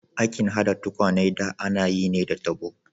Aikin hada tukwane da ana yi ne da tabo.